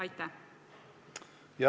Aitäh!